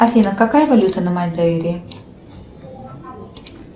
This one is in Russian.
афина какая валюта на мадейре